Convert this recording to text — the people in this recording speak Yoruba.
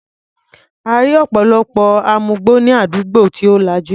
A rí ọ̀pọ̀lọpọ̀ amugbó ní àdúgbò tí ò lajú.